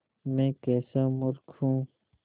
मैं कैसा मूर्ख हूँ